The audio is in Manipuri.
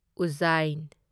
ꯎꯖꯥꯢꯟ